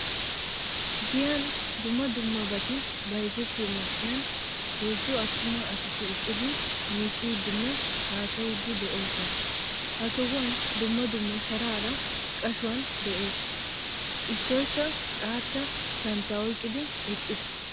Giyan dumma dummabati bayzzetiyo man'iyan heezzu attuma asati eqqidi miccidinne haasayidi deosona. Ha sohuwaan dumma dumma sharaara qashuwan de'ees. Issoykka xaatta santta oyqqidi eqqiis.